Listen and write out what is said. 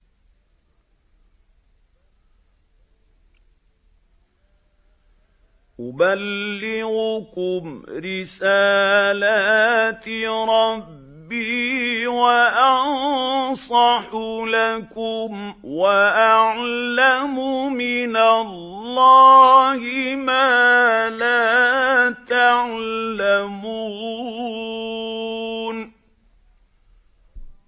أُبَلِّغُكُمْ رِسَالَاتِ رَبِّي وَأَنصَحُ لَكُمْ وَأَعْلَمُ مِنَ اللَّهِ مَا لَا تَعْلَمُونَ